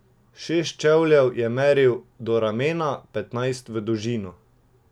Šest čevljev je meril do ramena, petnajst v dolžino.